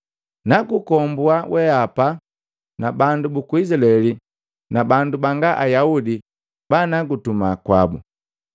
Nakukombua weapa na bandu buku Isilaeli na bandu banga Ayaudi banukutuma kwabu.